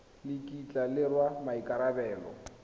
le kitla le rwala maikarabelo